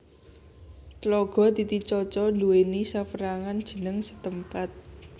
Tlaga Titicaca nduwèni sapérangan jeneng setempat